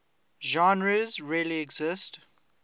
genres really exist